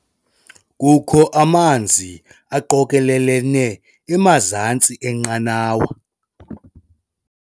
Kukho amanzi aqokelelene emazantsi enqanawa.